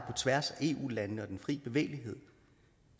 tværs af eu landene og den fri bevægelighed